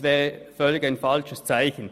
Das wäre ein völlig falsches Zeichen.